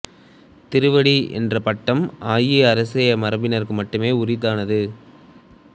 திருவடி என்ற பட்டம் ஆயி அரச மரபினருக்கு மட்டுமே உரித்தானது